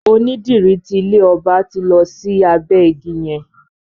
Onídìrí ti ilé ọba ti lọ sí abẹ́ ìgi yẹn.